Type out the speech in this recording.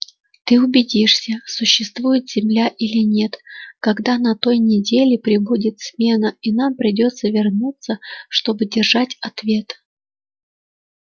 ты убедишься существует земля или нет когда на той неделе прибудет смена и нам придётся вернуться чтобы держать ответ